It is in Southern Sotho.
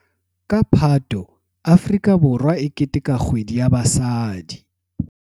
Ka Phato Afrika Borwa e keteteka Kgwedi ya Basadi.